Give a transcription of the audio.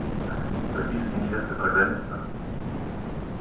записки невесты программиста